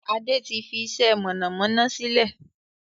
Adé tí fi iṣẹ́ mọ̀nàmọ́ná sílẹ̀